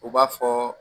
U b'a fɔ